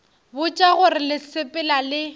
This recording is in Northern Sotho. botša gore le sepela le